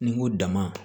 Ni n ko dama